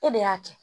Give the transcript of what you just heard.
E de y'a kɛ